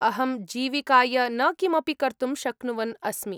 अहं जीविकाय न किमपि कर्तुं शक्नुवन् अस्मि।